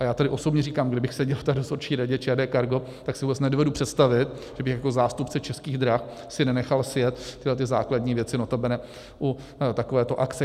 A já tady osobně říkám, kdybych seděl v té Dozorčí radě ČD Cargo, tak si vůbec nedovedu představit, že bych jako zástupce Českých drah si nenechal sjet tyhlety základní věci, notabene u takovéto akce.